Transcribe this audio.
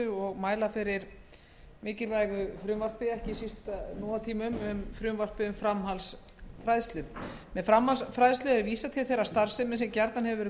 ég mæli hér fyrir frumvarpi um framhaldsfræðslu með framhaldsfræðslu er vísað til þeirrar starfsemi sem gjarnan hefur verið